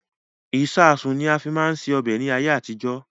Ìsáásùn ni a fi máa ń ṣe ọbẹ̀ ni ayé àtijọ́